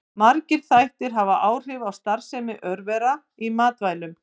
Margir þættir hafa áhrif á starfsemi örvera í matvælum.